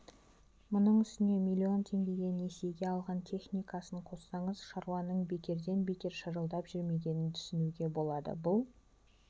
мұның үстіне миллион теңгеге несиеге алған техникасын қоссаңыз шаруаның бекерден бекер шырылдап жүрмегенін түсінуге болады бұл